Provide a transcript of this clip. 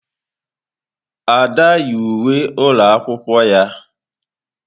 Ada yi uwe ụlọ akwụkwọ ya.